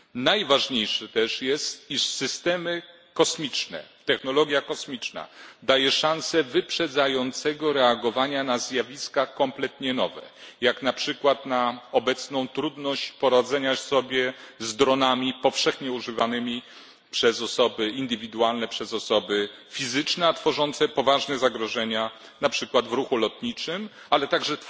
Najważniejsze też jest, iż systemy kosmiczne i technologia kosmiczna dają szansę szybkiego reagowania na zjawiska kompletnie nowe, jak na przykład na obecną trudność poradzenia sobie z dronami, które są powszechnie używane przez osoby indywidualne, przez osoby fizyczne, i które powodują poważne zagrożenia, na przykład w ruchu lotniczym, a także